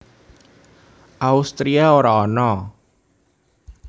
Austria ora ana